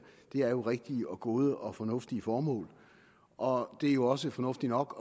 er jo rigtige gode og fornuftige formål og det er jo også fornuftigt nok